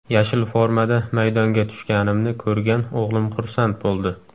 Yashil formada maydonga tushganimni ko‘rgan o‘g‘lim xursand bo‘ldi.